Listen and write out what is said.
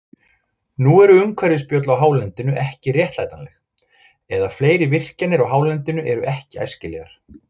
Nú eru umhverfisspjöll á hálendinu ekki réttlætanleg, eða fleiri virkjanir á hálendinu eru ekki æskilegar.